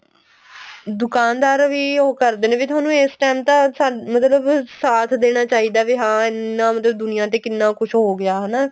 ਦੁਕਾਨਦਾਰ ਵੀ ਉਹ ਕਰਦੇ ਨੇ ਤੁਹਾਨੂੰ ਇਸ time ਤਾਂ ਮਤਲਬ ਸਾਥ ਦੇਣਾ ਚਾਹੀਦਾ ਵੀ ਹਾਂ ਇੰਨਾ ਮਤਲਬ ਦੁਨਿਆ ਤੇ ਕਿੰਨਾ ਕੁੱਝ ਹੋ ਗਿਆ ਹਨਾ